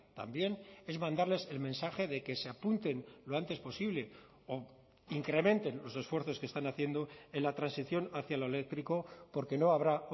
también es mandarles el mensaje de que se apunten lo antes posible o incrementen los esfuerzos que están haciendo en la transición hacia lo eléctrico porque no habrá